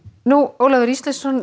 Ólafur Ísleifsson